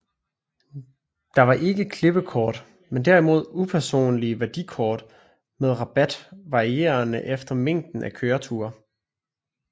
Der var ikke klippekort men derimod upersonlige værdikort med rabat varierende efter mængden af kørte ture